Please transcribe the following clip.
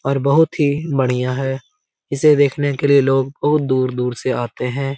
और बहुत ही बढियां है इसे देखने के लिए लोग बहुत दूर-दूर से आते हैं।